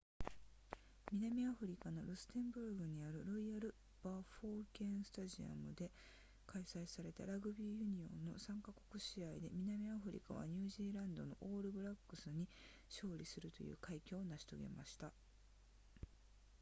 南アフリカのルステンブルグにあるロイヤルバフォケンスタジアムで開催されたラグビーユニオンの3か国試合で南アフリカはニュージーランドのオールブラックスに勝利するという快挙を成し遂げました